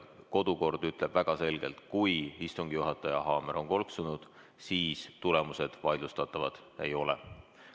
Kodukord ütleb väga selgelt, et kui istungi juhataja haamer on kolksunud, siis tulemused vaidlustatavad ei ole.